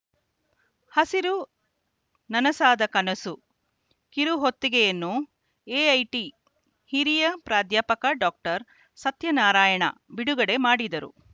ಹಸಿರು ನನಸಾದಕನಸು ಕಿರುಹೊತ್ತಗೆಯನ್ನು ಎಐಟಿ ಹಿರಿಯ ಪ್ರಾಧ್ಯಾಪಕ ಡಾಕ್ಟರ್ ಸತ್ಯನಾರಾಯಣ ಬಿಡುಗಡೆ ಮಾಡಿದರು